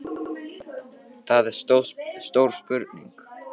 Konan neitaði alveg að trúa því að maðurinn væri farinn fyrir fullt og allt.